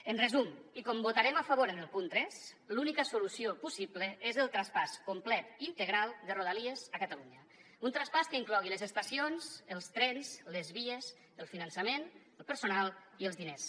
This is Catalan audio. en resum i com que votarem a favor en el punt tres l’única solució possible és el traspàs complet integral de rodalies a catalunya un traspàs que inclogui les estacions els trens les vies el finançament el personal i els diners